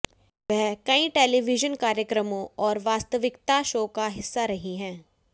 वह कई टेलीविजन कार्यक्रमों और वास्तविकता शो का हिस्सा रही हैं